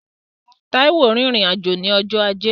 Táíwò rìnrìn-àjò ní ọjọ́ ajé